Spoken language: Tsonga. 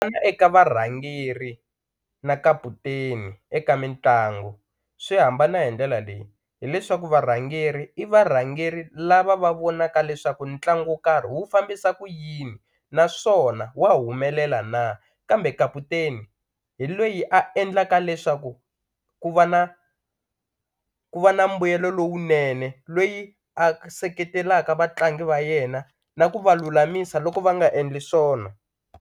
eka varhangeri na kaputeni eka mitlangu swi hambana hi ndlela leyi hileswaku varhangeri i varhangeri lava va vonaka leswaku ntlangu wo karhi wu fambisa ku yini naswona wa humelela na kambe kaputeni hi loyi a endlaka leswaku ku va na ku va na mbuyelo lowunene loyi a seketelaka vatlangi va yena na ku va lulamisa loko va nga endli swona.